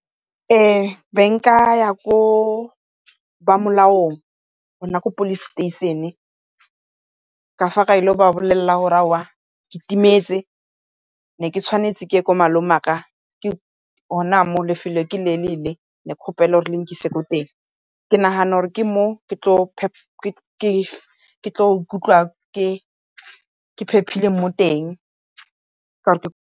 Ee, be nkaya ko ba molaong gona ko Police station ka fa ka ile go ba bolelela gore aowa ke timetse, ne ke tshwanetse ke ye ko malome wa ka, gona mo lefelo ke le le le, ne ke kgopela le nkise ko teng. Ke nagana gore ke mo ke tlo ikutlwa ke phepile mo teng .